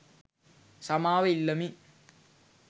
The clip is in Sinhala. සමාව ඉල්ලමි.